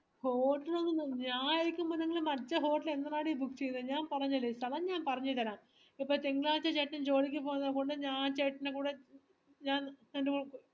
hotel ലൊന്നും ഞാൻ ഇരിക്കുമ്പോ നിങ്ങൾ മറ്റേ hotel എന്തിനാടി book ചെയ്തേ ഞാൻ പറഞ്ഞില്ലേ ഞാൻ പറഞ്ഞുതരാം ഇതിപ്പോ തിങ്കളാഴ്ച ചേട്ടൻ ജോലിക്ക് പോണകൊണ്ട് ഞാൻ ചേട്ടൻറെകൂടെ ഞാൻ രണ്ട്‌